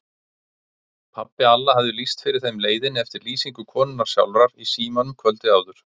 Pabbi Alla hafði lýst fyrir þeim leiðinni eftir lýsingu konunnar sjálfrar í símanum kvöldið áður.